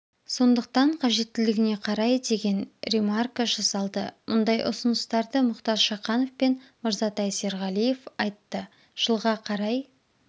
сондықтан қажеттілігіне қарай деген ремарка жасалды мұндай ұсыныстарды мұхтар шаханов пен мырзатай серғалиев айтты жылға қарай